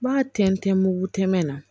N b'a tɛntɛn mugu tɛmɛ na